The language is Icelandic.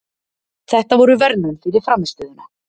Þetta voru verðlaun fyrir frammistöðuna.